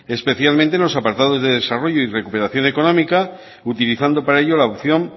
especialmente en los apartados de desarrollo y de recuperación económica utilizando para ello la opción